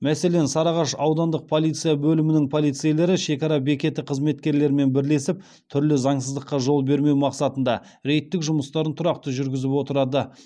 мәселен сарыағаш аудандық полиция бөлімінің полицейлері шекара бекеті қызметкерлерімен бірлесіп түрлі заңсыздыққа жол бермеу мақсатында рейдтік жұмыстарын тұрақты жүргізіп отырады